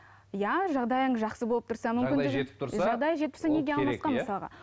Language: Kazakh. иә жағдайың жақсы болып тұрса мүмкіндігің